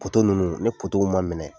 ninnu ni ma minɛ